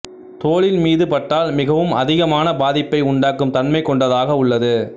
தோலின் மீது பட்டால் மிகவும் அதிகமான பாதிப்பை உண்டாக்கும் தன்மை கொண்டதாக உள்ளது